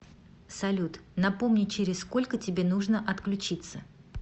салют напомни через сколько тебе нужно отключиться